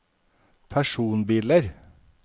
personbiler